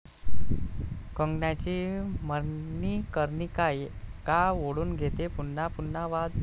कंगनाची मणिकर्णिका का ओढून घेतेय पुन्हा पुन्हा वाद?